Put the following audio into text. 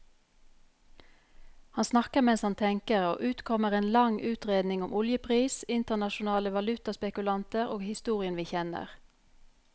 Han snakker mens han tenker, og ut kommer en lang utredning om oljepris, internasjonale valutaspekulanter og historien vi kjenner.